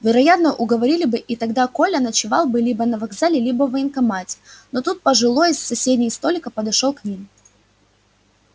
вероятно уговорили бы и тогда коля ночевал бы либо на вокзале либо в военкомате но тут пожилой с соседнего столика подошёл к ним